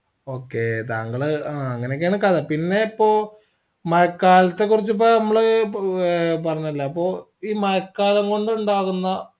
okay താങ്കൾ ആ അങ്ങനെയൊക്കെയാണ് കഥ പിന്നേ ഇപ്പോ മഴക്കാലത്തെ കുറച്ച് ഇപ്പൊ നമ്മൾ ആഹ് പറഞ്ഞല്ലോ അപ്പൊ ഈ മഴക്കാലം കൊണ്ടുണ്ടാകുന്ന